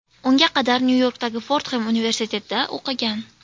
Unga qadar Nyu-Yorkdagi Fordxem universitetida o‘qigan.